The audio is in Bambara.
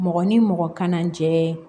Mɔgɔ ni mɔgɔ kana jɛ